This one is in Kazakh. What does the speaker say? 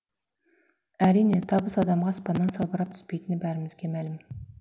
әрине табыс адамға аспаннан салбырап түспейтіні бәрімізге мәлім